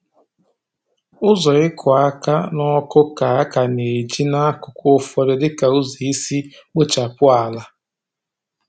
Ụzọ ịkụ aka n’ọkụ ka a ka na-eji n’akụkụ ụfọdụ dịka ụzọ isi kpochapụ ala.